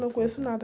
Não conheço nada.